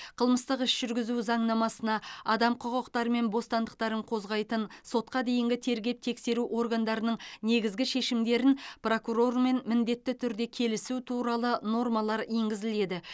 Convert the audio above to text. қылмыстық іс жүргізу заңнамасына адам құқықтары мен бостандықтарын қозғайтын сотқа дейінгі тергеп тексеру органдарының негізгі шешімдерін прокурормен міндетті түрде келісу туралы нормалар енгізіледі